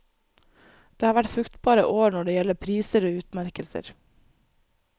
Det har vært fruktbare år når det gjelder priser og utmerkelser.